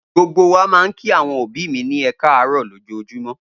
Gbogbo wa máa ń kí àwọn òbí mi ní ẹ káàárọ̀ lójoojúmọ́.